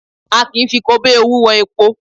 A kì í fi kobíowú wọn epo